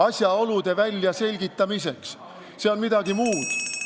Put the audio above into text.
Asjaolude väljaselgitamiseks, see on midagi muud.